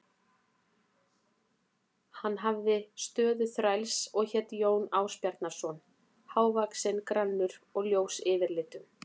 Hann hafði stöðu þræls og hét Jón Ásbjarnarson, hávaxinn, grannur og ljós yfirlitum.